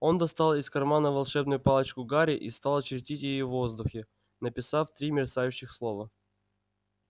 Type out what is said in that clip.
он достал из кармана волшебную палочку гарри и стал чертить ею в воздухе написав три мерцающих слова